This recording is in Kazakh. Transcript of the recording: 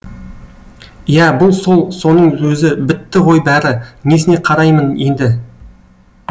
иә бұл сол соның өзі бітті ғой бәрі несіне қараймын енді